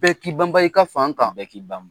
Bɛɛ k'i banban i ka fan kan. Bɛɛ k'i banban.